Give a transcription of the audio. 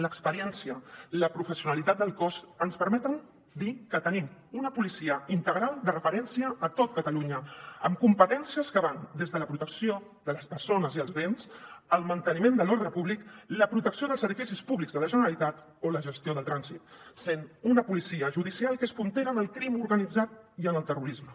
l’experiència la professionalitat del cos ens permeten dir que tenim una policia integral de referència a tot catalunya amb competències que van des de la protecció de les persones i els béns al manteniment de l’ordre públic la protecció dels edificis públics de la generalitat o la gestió del trànsit sent una policia judicial que és puntera en el crim organitzat i en el terrorisme